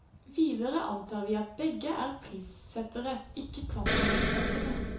Videre antar vi at begge er prissettere, ikke kvantumssettere.